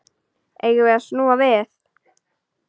Eigum við snúa við?